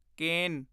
ਕੇਨ